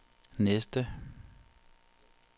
næste